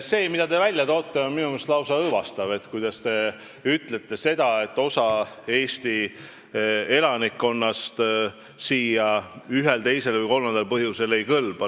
See, mida te esile toote, on minu meelest lausa õõvastav, kui te ütlete seda, et osa Eesti elanikkonnast siia ühel, teisel või kolmandal põhjusel ei kõlba.